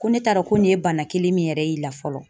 Ko ne t'a dɔn ko nin ye bana kelen min yɛrɛ y'i la fɔlɔ .